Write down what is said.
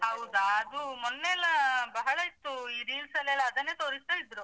ಹೌದ ಅದು ಮೊನ್ನೆಯೆಲ್ಲ ಬಹಳ ಇತ್ತು ಈ reels ಅಲೆಲ್ಲಾ ಅದನ್ನೇ ತೋರಿಸ್ತಾ ಇದ್ರೂ.